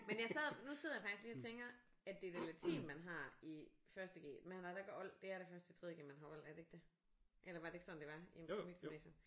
Men jeg sad nu sidder jeg faktisk lige og tænker at det er da latin man har i første G man har da ikke old det er da først i tredje G man har old er det ikke det eller var det ikke sådan det var inde på mit gymnasium